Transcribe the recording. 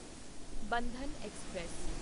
Bandhan express